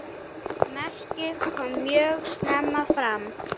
Merkið kom mjög snemma fram.